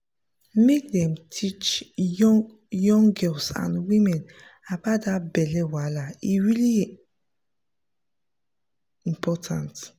make dem dey teach young young girls and women about that belly wahala e really important